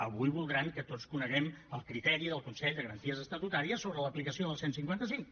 avui voldran que tots coneguem el criteri del consell de garanties estatutàries sobre l’aplicació del cent i cinquanta cinc